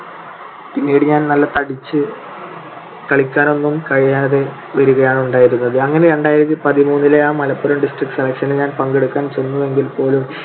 പിന്നീട് ഞാൻ നല്ല തടിച്ച് കളിക്കാനൊന്നും കഴിയാതെ വിടുകയാണ് ഉണ്ടായിരുന്നത്. അങ്ങനെ രണ്ടായിരത്തിപതിമൂന്നിലെ ആ മലപ്പുറം district selection ൽ ഞാൻ പങ്കെടുക്കാൻ ചെന്നുവെങ്കിൽപോലും